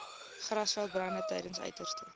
grasveldbrande tydens uiterste